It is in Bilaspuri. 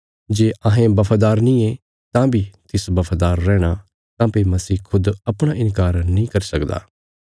जे अहें बफादार नींये तां बी तिस बफादार रैहणा काँह्भई मसीह खुद अपणा इन्कार नीं करी सकदा